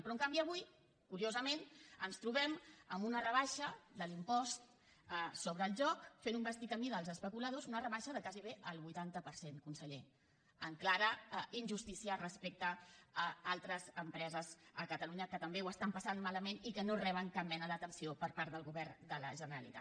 però en canvi avui curiosament ens trobem amb una rebaixa de l’impost sobre el joc fent un vestit a mida als especuladors una rebaixa de gairebé el vuitanta per cent conseller en clara injustícia respecte a altres empreses a catalunya que també ho estan passant malament i que no reben cap mena d’atenció per part del govern de la generalitat